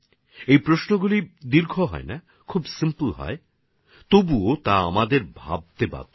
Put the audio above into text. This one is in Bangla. এইসব প্রশ্ন দীর্ঘ হয়না খুব সরল হয় তার পরেও সেগুলো আমাদেরকে চিন্তা করতে বাধ্য করে